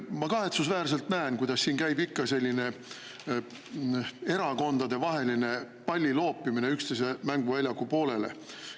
Ma kahetsusväärselt näen, kuidas siin käib ikka selline erakondadevaheline palliloopimine üksteise mänguväljaku poolele.